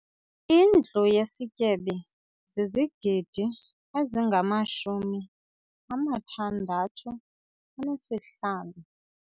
Indlu yesityebi zizigidi ezingamashumi amathandathu anesihlanu.